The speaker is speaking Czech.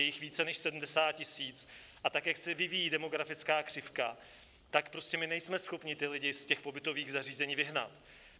Je jich více než 70 000, a tak jak se vyvíjí demografická křivka, tak prostě my nejsme schopni ty lidi z těch pobytových zařízení vyhnat.